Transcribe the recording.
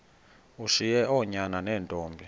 ushiye oonyana neentombi